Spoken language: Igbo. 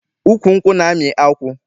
Ukwu nkwụ na-amị akwụ.